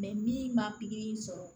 min ma pikiri in sɔrɔ